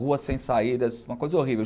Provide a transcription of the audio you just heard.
Ruas sem saídas, uma coisa horrível.